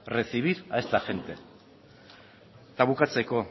recibir a esta gente eta bukatzeko